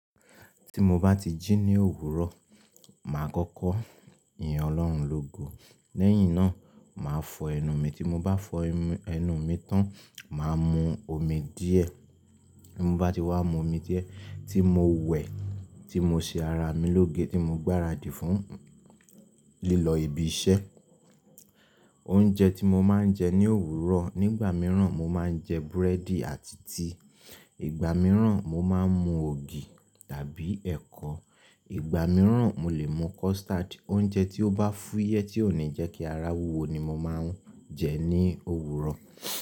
Tí mo bá ti jí ní òwúrọ̀, màá kọ́kọ́ yin Ọlọ́run lógo. Lẹ́yìn náà, màá fọ ẹnu mi. Tí mo bá fọ ẹnu mi tán, màá mu omi díẹ̀. Tí mo bá ti wá mu omi díẹ̀, tí mo wẹ̀, tí mo ṣe ara mi lóge tí mo gbáradì fún, lílọ ibi iṣẹ́. Oúnjẹ tí mo máa ń jẹ ní òwúrọ̀, nígbà mìíràn mo máa ń jẹ búrẹ́dì àti tíì, ìgbà mìíràn mo máa ń mu ògì tàbí ẹ̀kọ. Ìgbà mìíràn mo lè mu custard. Oúnjẹ tí ó bá fúyẹ́ tí ò ní jẹ́ kí ara wúwo ni mo máa ń jẹ ní òwúrọ̀.